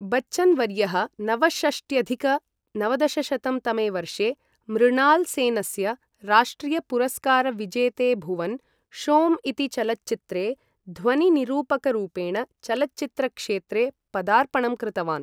बच्चन् वर्यः नवषष्ट्यधिक नवदशशतं तमे वर्षे मृणाल् सेनस्य राष्ट्रियपुरस्कारविजेते भुवन् शोम् इति चलच्चित्रे ध्वनि निरूपकरूपेण चलच्चित्र क्षेत्रे पदार्पणं कृतवान्।